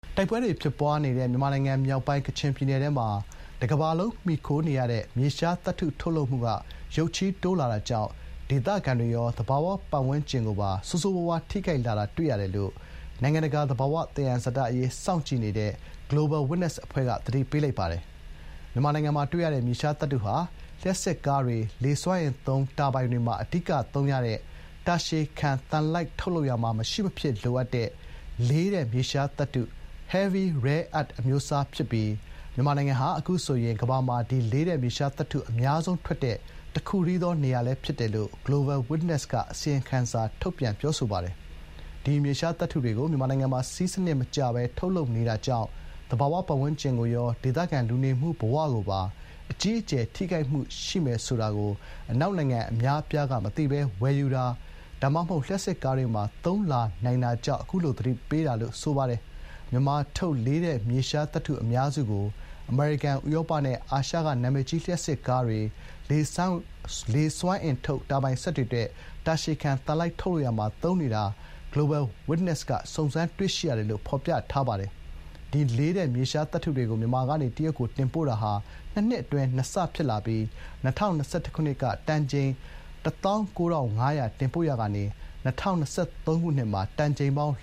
တိုက်ပွဲတွေ ဖြစ်ပွါးနေတဲ့ မြန်မာနိုင်ငံမြောက်ပိုင်း ကချင်ပြည်နယ်ထဲမှာ တကမ္ဘာလုံးမှီခိုနေရတဲ့ မြေရှားသတ္တု ထုတ်လုပ်မှု ရုတ်ချည်းတိုးလာတာကြောင့် ဒေသခံတွေကိုရော သဘာဝဝန်းကျင်ကိုပါ ဆိုးဆိုးရွားရွား ထိခိုက်လာတာတွေ့ရတယ်လို့ နိုင်ငံတကာ သဘာဝသယံဇာတအရေး စောင့်ကြည့်တဲ့ Global Witness အဖွဲ့က သတိပေးလိုက်ပါတယ်။ မြန်မာနိုင်ငံမှာ တွေ့ရတဲ့ မြေရှားသတ္တုဟာ လျှပ်စစ်ကားတွေ၊ လေစွမ်းအင်သုံး တာဘိုင်တွေမှာ အဓိကသုံးရတဲ့ တာရှည်ခံသံလိုက်ထုတ်လုပ်ရာမှာ မရှိမဖြစ်လိုအပ်တဲ့ လေးတဲ့မြေရှားသတ္တု (Heavy rare earths) အမျိုးအစား ဖြစ်ပြီး မြန်မာနိုင်ငံဟာ အခုဆို ကမ္ဘာမှာ ဒီလို လေးတဲ့မြေရှားသတ္တု အများဆုံးထွက်တဲ့ တည်းသော နေရာလည်းဖြစ်နေတယ်လို့ Global Witness က အစီရင်ခံစာထုတ်ပြန် ပြောဆိုပါတယ်။ ဒီမြေရှားသတ္တုတွေကို မြန်မာနိုင်ငံမှာ စည်းစံနစ်မကျပဲ ထုတ်လုပ်နေတာကြောင့် သဘာဝဝန်းကျင်ကိုရော ဒေသခံလူနေမှု ဘဝကိုပါ အကြီးအကျယ် ထိခိုက်မှုရှိမယ် ဆိုတာကိုအနောက်နိုင်ငံအများအပြားက မသိပဲ ဝယ်ယူတာ ဒါမှမဟုတ် လျှပ်စစ်ကားတွေမှာ သုံးလာနိုင်တာကြောင့် သတိပေးတာ ဖြစ်ပါတယ်။ မြန်မာထုတ် လေးတဲ့မြေရှားသတ္တုအများစုကို အမေရိကန်၊ ဥရောပနဲ့ အာရှက နာမည်ကြီး လျှပ်စစ်ကားတွေ၊ လေစွမ်းအင်ထုတ် တာဘိုင်စက်တွေအတွက် တာရှည်ခံသံလိုက် ထုတ်လုပ်ရာမှာ သုံးနေတာ Global Witness က စုံစမ်းတွေ့ရှိရတယ်လို့ ဖေါ်ပြထားပါတယ်။ ဒီလေးတဲ့မြေရှားသတ္တုတွေကို မြန်မာကနေ တရုတ်ကို တင်ပို့တာဟာ ၂ နှစ်အတွင်း ၂ ဆ ဖြစ်လာပြီး ၂၀၂၁ က တန်ချိန် ၁၉ ၅၀၀ တင်ပို့ရာကနေ ၂၀၂၃ မှာ တန်ချိန်ပေါင်